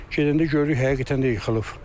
Gedəndə gördük həqiqətən də yıxılıb.